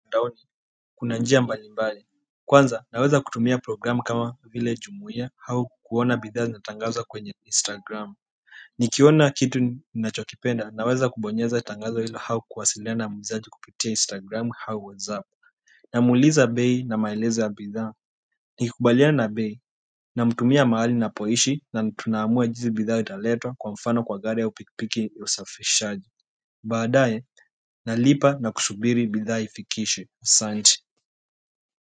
Mtandaoni kuna njia mbalimbali kwanza naweza kutumia programu kama vile jumuia au kuona bidhaa zinatangazwa kwenye instagram nikiona kitu ninachokipenda naweza kubonyeza tangazo hilo au kuwasiliana na muuzaji kupitia instagram au whatsapp namuuliza bei na maelezo ya bidhaa nikikubaliana na bei namtumia mahali napoishi na tunaamua jinsi bidhaa italetwa kwa mfano kwa gari au pikipiki ya usafishaji baadae nalipa na kusubiri bidhaa ifikishe asanti.